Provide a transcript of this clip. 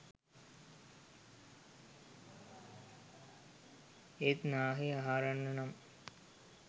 ඒත් නාහේ හාරන්න නම්